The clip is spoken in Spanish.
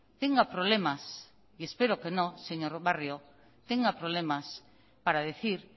tenga problemas y espero que no señor barrio tenga problemas para decir